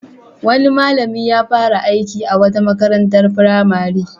Wani malami ya fara aiki a wata makarantar firamare.